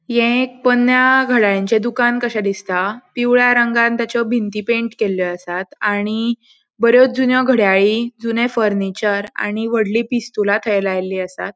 ये एक पन्न्या घडल्याळांचे दुकान कशे दिसता पिवळ्या रंगान ताचो भिंती पैंट केल्यो आसात आणि बोरयो जून्यो घड्याळी जून्ये फर्निचर आणि वोडली पिस्तुला थय लायली आसात.